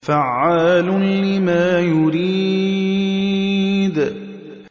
فَعَّالٌ لِّمَا يُرِيدُ